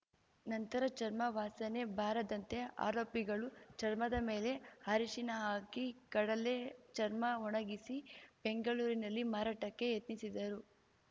ನಂತರ ಚರ್ಮ ವಾಸನೆ ಬಾರದಂತೆ ಆರೋಪಿಗಳು ಚರ್ಮದ ಮೇಲೆ ಅರಿಶಿನ ಹಾಕಿ ಕಡಲ್ಲೇ ಚರ್ಮ ಒಣಗಿಸಿ ಬೆಂಗಳೂರಿನಲ್ಲಿ ಮಾರಾಟಕ್ಕೆ ಯತ್ನಿಸಿದರು